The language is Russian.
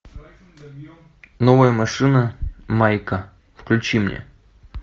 новая машина майка включи мне